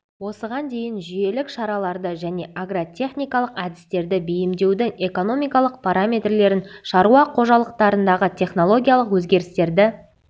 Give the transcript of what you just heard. осыған дейін жүйелік шараларды және агротехникалық әдістерді бейімдеудің экономикалық параметрлерін шаруа қожалықтарындағы технологиялық өзгерістерді